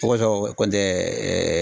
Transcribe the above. O kosɔn kɔni tɛ